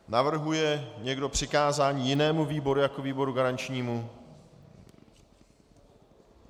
Navrhuje někdo přikázání jinému výboru jako výboru garančnímu?